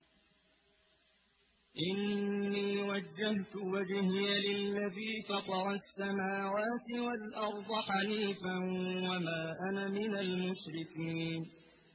إِنِّي وَجَّهْتُ وَجْهِيَ لِلَّذِي فَطَرَ السَّمَاوَاتِ وَالْأَرْضَ حَنِيفًا ۖ وَمَا أَنَا مِنَ الْمُشْرِكِينَ